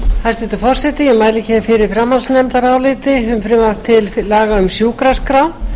hæstvirtur forseti ég mæli hér fyrir framhaldsnefndaráliti um frumvarp til laga um sjúkraskrá nefndin